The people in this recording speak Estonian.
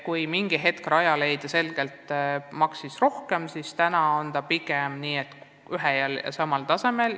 Kui mingi aeg tagasi Rajaleidja maksis selgelt rohkem, siis praegu ollakse pigem ühel ja samal tasemel.